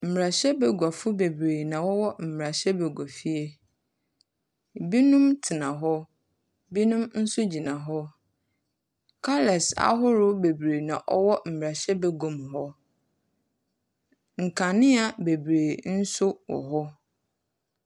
Mbarahyɛbaguafo beberee na wɔwɔ mbarahyɛbaguafie. Binom tena hɔ. Binom nso gyina hɔ. Colours ahorow bebree na ɔwɔ mbarahyɛbaguam hɔ. Nkandzea bebree nso wɔ hɔ.